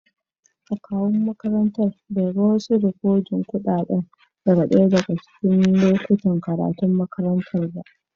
Akawun makarantan bai ga wasu rikodin kuɗaɗa daga ɗaya daga cikin lokutan karatun makarantar ba.